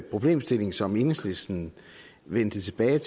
problemstilling som enhedslisten vendte tilbage